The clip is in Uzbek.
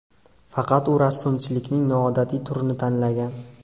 Faqat u rassomchilikning noodatiy turini tanlagan.